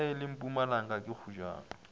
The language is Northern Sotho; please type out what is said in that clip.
e le mpumalanga ke kgojana